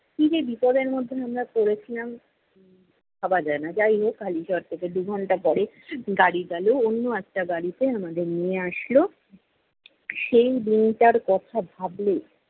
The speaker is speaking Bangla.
কী যে বিপদের মধ্যে আমরা পড়েছিলাম, উম ভাবা যায়না। যাই হোক হালিশহর থেকে দু'ঘন্টা পরে গাড়ি গেলো, অন্য একটা গাড়িতে আমাদের নিয়ে আসলো। সেই দিনটার কথা ভাবলে,